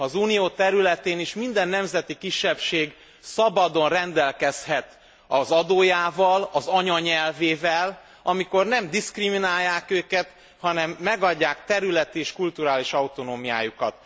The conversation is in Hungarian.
Az Unió területén is minden nemzeti kisebbség szabadon rendelkezhet az adójával, az anyanyelvével, amikor nem diszkriminálják őket, hanem megadják területi és kulturális autonómiájukat.